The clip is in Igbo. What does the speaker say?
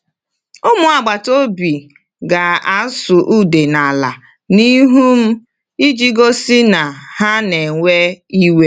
Ụmụ agbata obi ga-asụ̀ ude n’ala n’ihu m iji gosi na ha na-ewe iwe.